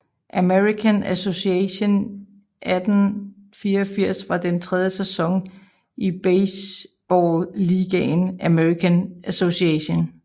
American Association 1884 var den tredje sæson i baseballligaen American Association